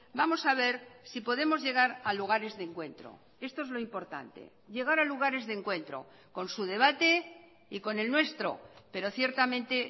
vamos a ver si podemos llegar a lugares de encuentro esto es lo importante llegar a lugares de encuentro con su debate y con el nuestro pero ciertamente